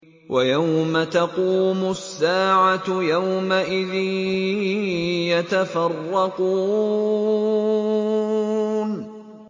وَيَوْمَ تَقُومُ السَّاعَةُ يَوْمَئِذٍ يَتَفَرَّقُونَ